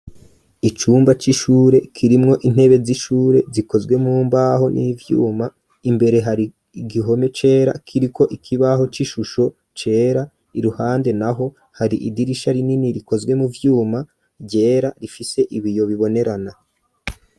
Icumba c'ishure kirimwo intebe z'ishure zikozwe mu mbaho n'ivyuma imbere hari igihome cera kiriko ikibaho c'ishusho cera iruhande naho hari idirisha rinini rikozwe mu vyuma ryera rifise ibiyo bibonerana.